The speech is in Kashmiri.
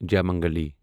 جیامنگلی